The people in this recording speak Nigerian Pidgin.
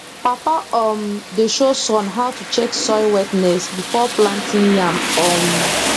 papa um dey show son how to check soil wetness before planting yam um